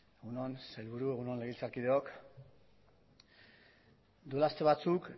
egun on sailburu egun on legebiltzarkideok duela aste batzuk